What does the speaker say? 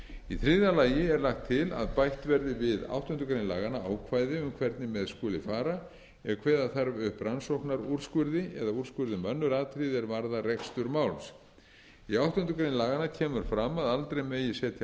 í þriðja lagi er lagt til að bætt verið við áttundu grein laganna ákvæði um hvernig með skuli fara ef kveða þarf upp rannsóknarúrskurði eða úrskurði um önnur atriði er varðar rekstur máls í áttundu grein laganna kemur fram að aldrei megi setja landsdóm